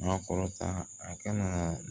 Maa kɔrɔta a kana